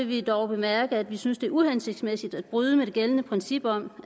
vi dog bemærke at vi synes det er uhensigtsmæssigt at bryde med det gældende princip om